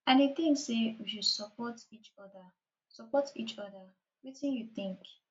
i dey think say we should support each oda support each oda wetin you think